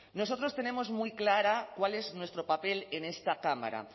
nosotros tenemos muy claro cuál es nuestro papel en esta cámara